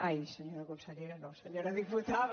ai senyora consellera no senyora diputada